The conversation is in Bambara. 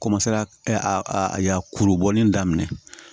a ya kuru bɔli daminɛ